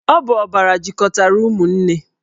Ọ bụ ọbara jikọtara ụmụnne